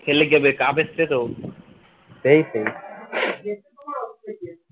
খেললে কী হবে cup এসছে তো এই সেই